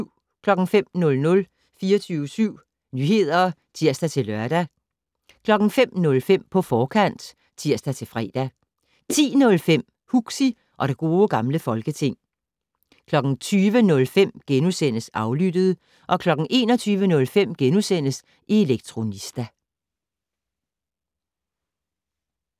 05:00: 24syv Nyheder (tir-lør) 05:05: På forkant (tir-fre) 10:05: Huxi og det Gode Gamle Folketing 20:05: Aflyttet * 21:05: Elektronista *